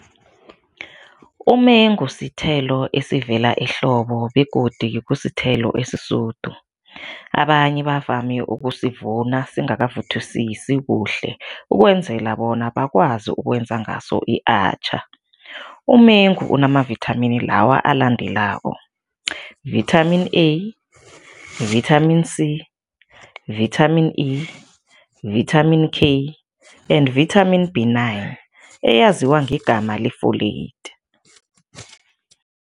Umengu sithelo esivela ehlobo begodu kusithelo esisudu. Abanye bavame ukusivuna singakavuthwisisi kuhle ukwenzela bona bakwazi ukwenza ngaso i-atchaar. Umengu unamavithamini lawa alandelako, Vitamin A, Vitamin C, Vitamin E, Vitamin K and Vitamin B nine, eyaziwa ngegama le-folate.